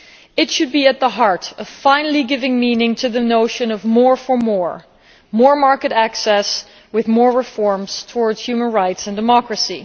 It should be at the heart of finally giving meaning to the notion of more for more more market access, with more reforms towards human rights and democracy.